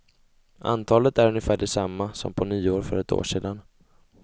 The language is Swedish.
Antalet är ungefär det samma som på nyår för ett år sedan.